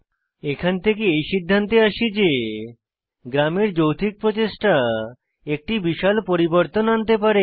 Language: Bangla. এখান থেকে এই সিদ্ধান্তে আসি যে গ্রামের যৌথিক প্রচেষ্টা একটি বিশাল পরিবর্তন আনতে পারে